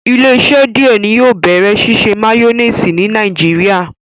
ile-iṣẹ diẹ síi yóò bẹrẹ ṣiṣe mayonnaise ní Nàìjíríà.